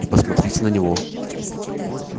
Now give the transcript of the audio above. и посмотрите на него